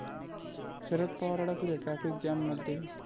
शरद पवार अडकले ट्रॅफिक जॅममध्ये